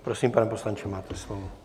Prosím, pane poslanče, máte slovo.